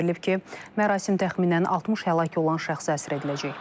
Bildirilib ki, mərasim təxminən 60 həlak olan şəxsə həsr ediləcək.